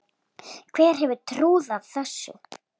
Hver hefði trúað þessu?